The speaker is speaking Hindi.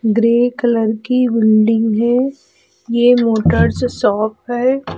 ग्रे कलर की बिल्डिंग है। ये मोटर्स शॉप है।